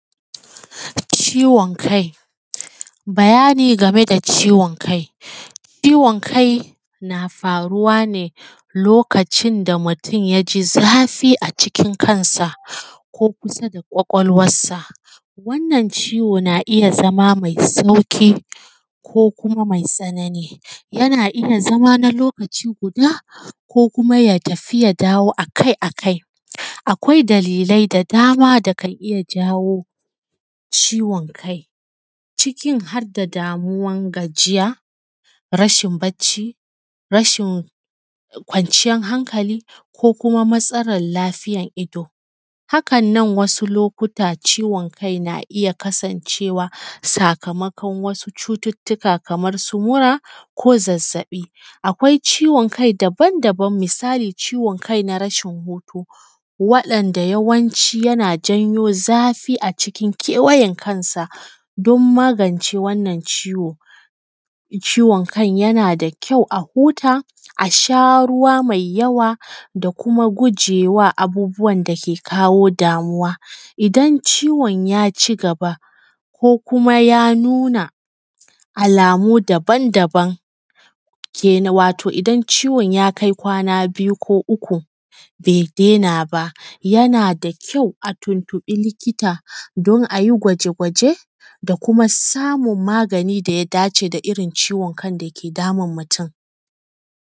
Ciwon kai, bayani game da ciwon kai, ciwon kai na faruwa ne lokacin da mutum yaji zafi acikin kan sa, ko kusa da ƙwaƙwalwar sa. Wannan ciwo na iya zama mai sauƙi ko kuma mai tsanani, yana iya zama na lokaci guda, ko kuma ya tafi ya dawo akai-akai. Akwai dalilai da dama da kan iya jawo ciwon kai, cikin har da damuwan gajiya, rashin barci, rashin kwanciyar hankali ko kuma matsalar lafiyar ido. Hakan nan, wasu lokuta ciwon kai na iya kasancewa sakamakon wasu cututtuka kaman su mura ko zazzaɓi. akwai ciwon kai daban daban, misali ciwon kai na rashin hutu, waɗanda yawanci yana janyo zafi acikin kewayen kansa, don magance wannan ciwon ciwon kai yana da kyau a huta, a sha ruwa mai yawa da kuma gujema abubuwan da ke kawo damuwa, idan ciwon yaci gaba ko kuma ya nuna alamu daban-daban kenan wato idan ciwon ya kai kwana biyu ko uku bai den aba, yana da kyau a tuntuɓi likita, don ayi gwaje-gwaje da kuma samun magani da ya dace da irin ciwon kan.